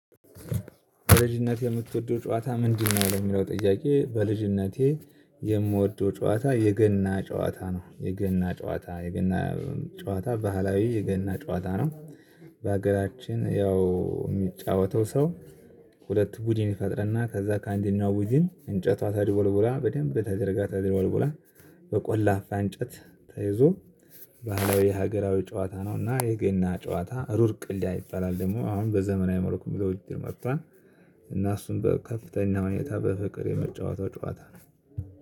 በልጅነትህ የምትወደው ጨዋታ ምንድነው የሚለው? ጥያቄ በልጅነቴ የምወደው ጨዋታ የገና ጨዋታ ነው የገና ጨዋታ የገና ጨዋታ ባህላዊ የገና ጨዋታ ነው። በሀገራችን ያው የሚጫወተው ሰው። ሁለት ቡድን ይፈጥረና ከዛ ከአንደኛው ቡድን እንጨቷ ተድቦልቡላ በደንብ ተደርጋ ተድቦልቡላ በቆላፋ እንጨት ተይዞ። ባህላዊ የሀገራዊ ጨዋታ ነውና የገና ጨዋታ ሩር ቅልያ ይባላል ደግሞ አሁን በዘመናዊ መርኩ የሚለው እጅግ መጥቷል። እና እሱን በከፍተኛ ሁኔታ በፍቅር የምትጫወተው ጨዋታ ነው